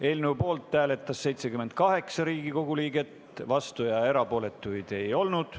Eelnõu poolt hääletas 78 Riigikogu liiget, vastuolijaid ega erapooletuid ei olnud.